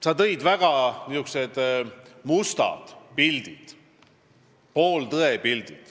Sa tõid välja väga musti pilte, pooltõe pilte.